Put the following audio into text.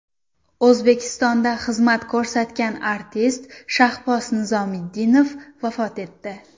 O‘zbekistonda xizmat ko‘rsatgan artist Shahboz Nizomiddinov vafot etdi.